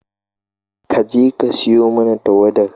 Ka je ka siyo mana tauwadar